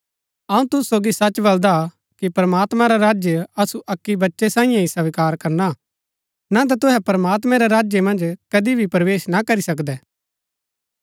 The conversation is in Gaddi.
अऊँ तुसु सोगी सच बलदा कि प्रमात्मां रा राज्य असु अक्की बच्चै साईयें ही स्वीकार करना ना ता तुहै प्रमात्मां रै राज्य मन्ज कदी भी प्रवेश ना करी सकदै